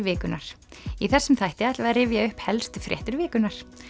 vikunnar í þessum þætti ætlum við að rifja upp helstu fréttir vikunnar